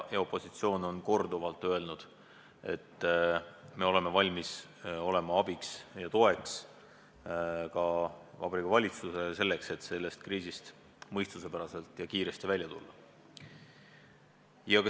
Opositsioon on korduvalt öelnud, et oleme valmis olema Vabariigi Valitsusele abiks ja toeks, et sellest kriisist mõistuspäraselt ja kiiresti välja tulla.